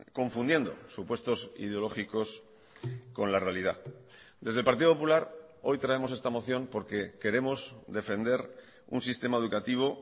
confundiendo supuestos ideológicos con la realidad desde el partido popular hoy traemos esta moción porque queremos defender un sistema educativo